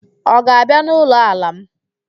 Ọ ga-abịa n'ụlọ ala m?